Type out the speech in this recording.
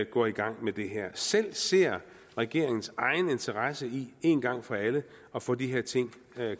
går i gang med det her selv ser regeringens egen interesse i en gang for alle at få de her ting